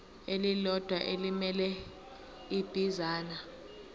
elilodwa elimele ibinzana